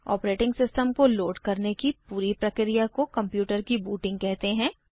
operating system को load करने की पूरी प्रक्रिया को कंप्यूटर की बूटिंग कहते हैं